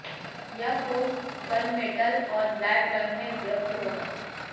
यह phone gunmetal और black रंग में उपलब्ध होगा